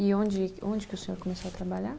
E onde, onde que o senhor começou a trabalhar?